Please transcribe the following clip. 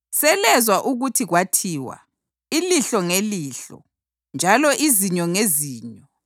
“Selezwa ukuthi kwathiwa, ‘Ilihlo ngelihlo njalo izinyo ngezinyo.’ + 5.38 U-Eksodasi 21.24; ULevi 24.20; UDutheronomi 19.21